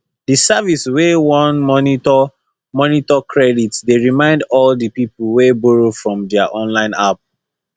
the service wey dey monitor monitor credit dey remind all the people wey borrow from their online app